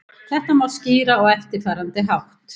Þetta má skýra á eftirfarandi hátt.